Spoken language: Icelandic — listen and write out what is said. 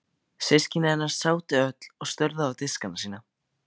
Systkini hennar sátu öll og störðu á diskana sína.